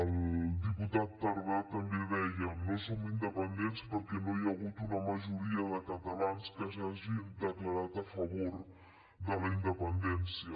el diputat tardà també deia no som independents perquè no hi ha hagut una majoria de catalans que s’hagin declarat a favor de la independència